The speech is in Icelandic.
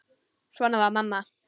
Svona var amma.